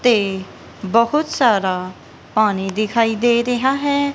ਤੇ ਬਹੁਤ ਸਾਰਾ ਪਾਣੀ ਦਿਖਾਈ ਦੇ ਰਿਹਾ ਹੈ।